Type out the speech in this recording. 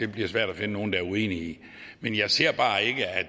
bliver svært at finde nogen der er uenige i men jeg ser bare ikke at